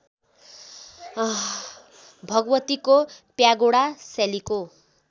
भगवतीको प्यागोडा शैलीको